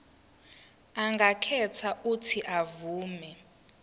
angakhetha uuthi avume